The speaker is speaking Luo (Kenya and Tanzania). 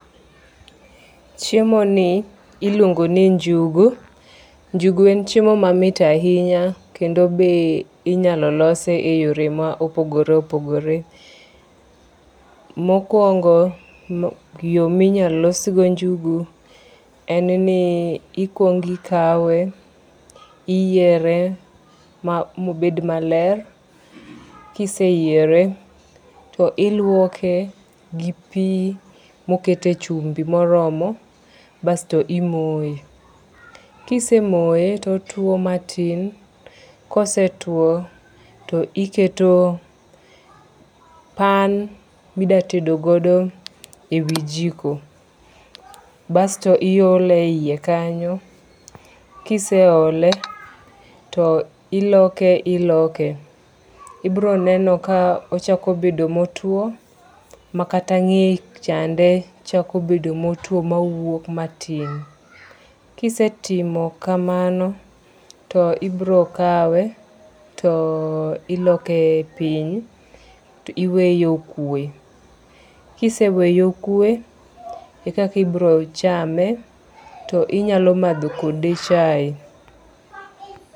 Chiemo ni iluongo ni njugu. Njugu en chiemo mamit ahinya. Kendo be inyalo lose e yore ma opogoore opogore. Mokwongo, yo minyal losgo njugu en ni ikwong ikawe, iyiere mobed maler. Kiseyiere, to iluoke gi pi mokete chumbi moromo basto imoye. Kisemoye totuo matin. Kose tuo to iketo pan midatedogodo e wi jiko. Basto iole e iye kanyo. Kiseole, to iloke iloke. Ibironeno ka ochako bedo motuo makata ng'eye chande chako bedo motuo mawuok matin. Kisetimo kamano, to ibiro kawe, to iloke piny to iweye okwe. Kiseweye okwe, ekakibiro chame, to inyalo madho kode chae.